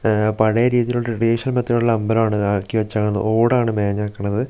ഉം പഴയ രീതിയിലുള്ള ട്രെഡീഷണൽ മെത്തേടിലുള്ള അമ്പലമാണ് ആക്കിവെച്ചേക്കുന്നത് ഓട് ആണ് മേഞ്ഞേക്കണത് പി --